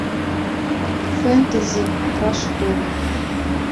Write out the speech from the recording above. фэнтези про школу